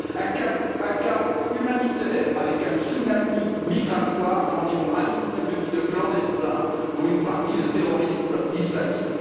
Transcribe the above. Un chaos humanitaire, avec un tsunami migratoire d'environ un million et demi de clandestins, dont une partie de terroristes islamistes.